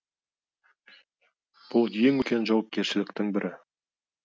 бұл ең үлкен жауапкершіліктің бірі